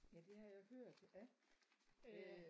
Ja det har jeg hørt ja øh